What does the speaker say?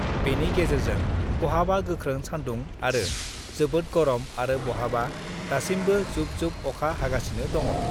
बेनि गेजेरजों बहाबा गोख्रों सान्दुं आरो जोबोद गरम आरो बहाबा दासिमबो जुब जुब अखा हागासिनो दङ।